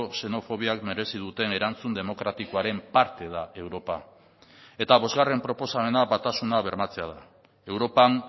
xenofobiak merezi duten erantzun demokratikoaren parte da europa eta bosgarren proposamena batasuna bermatzea da europan